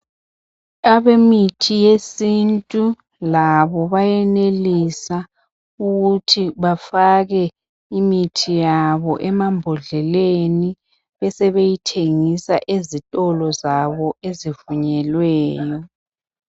Abemithi yesintu labo bayenelisa ukuthi labo bafake imithi yabo emambodleleni besebeyithengisa ezitolo zabo ezivunyelweyo.